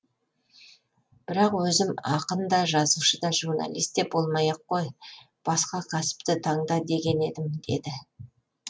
бірақ өзім ақын да жазушы да журналист те болмай ақ қой басқа кәсіпті таңда деген едім деді